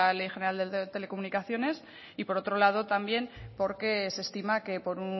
la ley general de telecomunicaciones y por otro lado también porque se estima que por